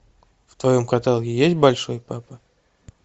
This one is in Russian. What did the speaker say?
в твоем каталоге есть большой папа